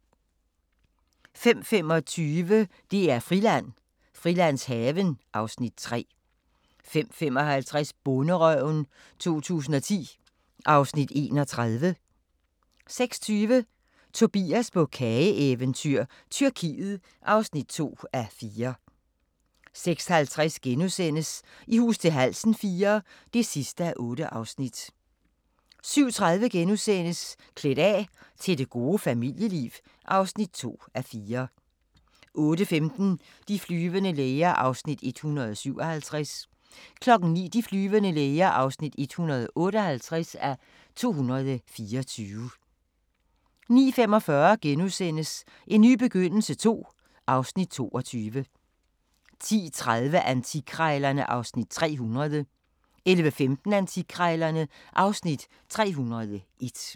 05:25: DR-Friland: Frilandshaven (Afs. 3) 05:55: Bonderøven 2010 (Afs. 31) 06:20: Tobias på kageeventyr – Tyrkiet (2:4) 06:50: I hus til halsen IV (8:8)* 07:30: Klædt af – til det gode familieliv (2:4)* 08:15: De flyvende læger (157:224) 09:00: De flyvende læger (158:224) 09:45: En ny begyndelse II (Afs. 22)* 10:30: Antikkrejlerne (Afs. 300) 11:15: Antikkrejlerne (Afs. 301)